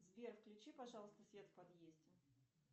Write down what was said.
сбер включи пожалуйста свет в подъезде